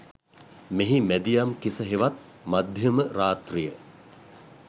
මෙහි මැදියම් කිස හෙවත් මධ්‍යම රාත්‍රිය